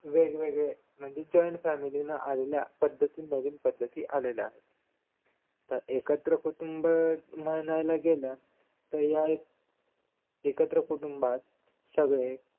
वेगवेगळे individual family ना आलेल्या पद्धतही नवीन पद्धती तर एकत्र कुटुंब म्हणायला गेलं तर या एकत्र कुटुंबात सगळे